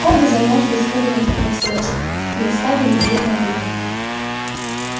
оба замёрзли испуганные такой встречей и уставились друг на друга